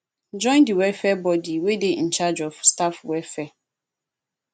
join di welfare body wey dey in charge of staff welfare